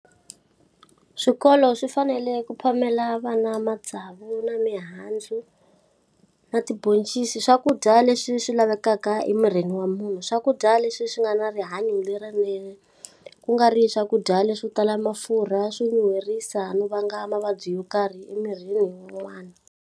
Swikolo swi fanele ku phamela vana matsavu na mihandzu, na tibhoncisi swakudya leswi swi lavekaka emirini wa munhu. Swakudya leswi swi nga na rihanyo lerinene, ku nga ri swakudya leswo tala mafurha swo nyuherisa no vanga mavabyi yo karhi emirini wa n'wana.